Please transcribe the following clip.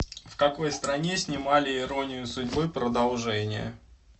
в какой стране снимали иронию судьбы продолжение